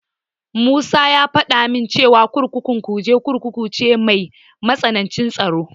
Musa ya faɗa min cewa kurkukun Kuje Kurkuku ce mai matsanancin tsaro.